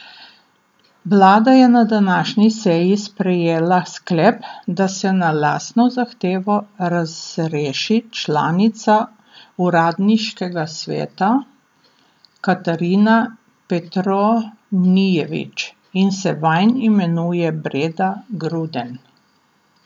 Vlada je na današnji seji sprejela sklep, da se na lastno zahtevo razreši članica uradniškega sveta Katarina Petronijević in se vanj imenuje Breda Gruden.